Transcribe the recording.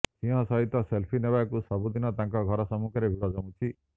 ସିଂହ ସହିତ ସେଲଫି ନେବାକୁ ସବୁ ଦିନ ତାଙ୍କ ଘର ସମ୍ମୁଖରେ ଭିଡ ଜମୁଛି